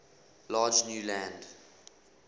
large new land